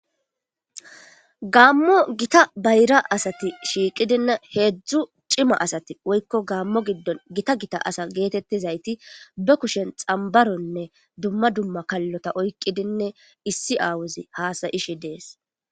gaammo gita bayra asati shiiqidinne heedzdzu cima asati woykko gaammo giddon gita gita asa geetettizayti ba kushen xambaronne dumma dumma kallota oykqidinne issi aawuzi haasayishi dees